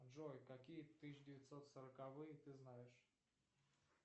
джой какие тысяча девятьсот сороковые ты знаешь